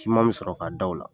Siman me sɔrɔ k'a da u la.